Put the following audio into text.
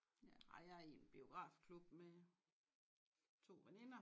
Ja jeg er i en biografklub med to veninder